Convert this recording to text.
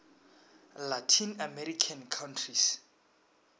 latin american countries